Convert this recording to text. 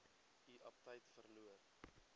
u aptyt verloor